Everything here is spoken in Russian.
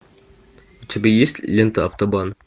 у тебя есть лента автобан